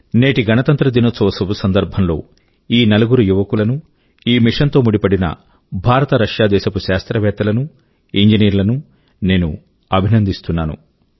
నేటి గణతంత్ర దినోత్సవ శుభ సందర్భం లో ఈ నలుగురు యువకుల కూ ఈ మిశన్ తో ముడిపడిన భారత రశ్యా దేశపు శాస్త్రవేత్తలను ఇంజనీర్లను నేను అభినందిస్తున్నాను